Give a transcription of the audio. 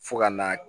Fo ka n'a